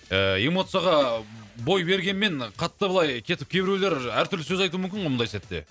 ііі эмоцияға бой бергенмен қатты былай кетіп кейбіреулер әртүрлі сөз айтуы мүмкін ғой мұндай сәтте